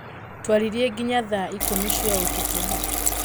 Twaririe nginya thaa ikũmi cia ũtukũ